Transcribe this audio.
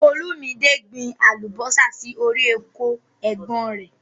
Olúmídé gbìn àlúbọ̀sà sí ọ̀rì ọkọ è̩gbón rẹ̀.